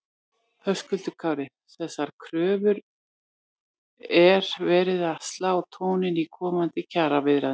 Höskuldur Kári: Þessar kröfur er verið að slá tóninn í komandi kjaraviðræðum?